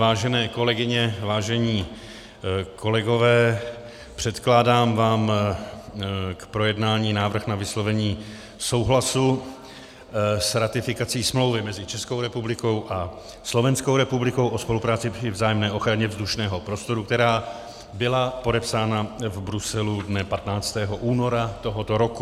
Vážené kolegyně, vážení kolegové, předkládám vám k projednání návrh na vyslovení souhlasu s ratifikací Smlouvy mezi Českou republikou a Slovenskou republikou o spolupráci při vzájemné ochraně vzdušného prostoru, která byla podepsána v Bruselu dne 15. února tohoto roku.